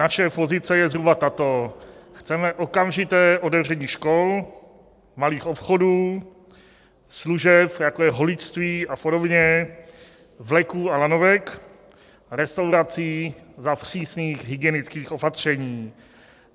Naše pozice je zhruba tato: chceme okamžité otevření škol, malých obchodů, služeb, jako je holičství a podobně, vleků a lanovek, restaurací za přísných hygienických opatření.